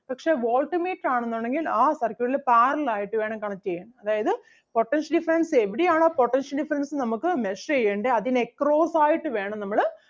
പക്ഷേ voltmeter ആണെന്നുണ്ടെങ്കിൽ ആ circuit ല് parallel ആയിട്ട് വേണം connect ചെയ്യാൻ അതായത് potential difference എവിടെയാണോ potential difference നമുക്ക് measure ചെയ്യണ്ടേ അതിന് across ആയിട്ട് വേണം നമ്മള്